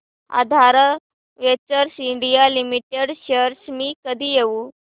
आधार ventures India limited shares मी कधी घेऊ